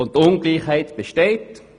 Die Ungleichheit besteht.